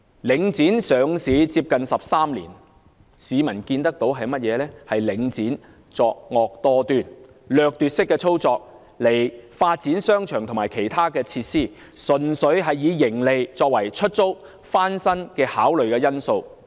領展上市接近13年，市民看見領展作惡多端，以掠奪式的操作發展商場和其他設施，純粹以盈利作為出租和翻新的考慮因素。